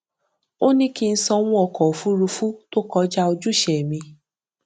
ó ní kí n sanwó ọkọ òfuurufú tó kọjá ojúṣe mi